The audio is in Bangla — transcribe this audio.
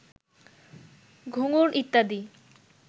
ঘুঙুর ইত্যাদি